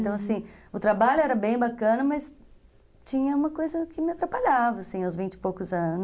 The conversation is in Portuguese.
Então, assim, o trabalho era bem bacana, mas tinha uma coisa que me atrapalhava, assim, aos vinte e poucos anos.